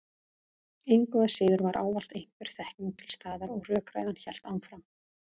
Engu að síður var ávallt einhver þekking til staðar og rökræðan hélt áfram.